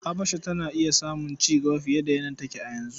Habasha tana iya samun cigaba fiye da yadda take a yanzu.